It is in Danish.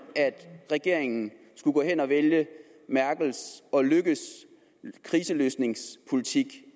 at regeringen skulle gå hen at vælge merkels og løkkes kriseløsningspolitik